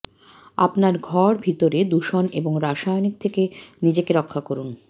আপনার ঘর ভিতরে দূষণ এবং রাসায়নিক থেকে নিজেকে রক্ষা করুন